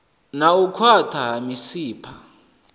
na u khwaṱha ha misipha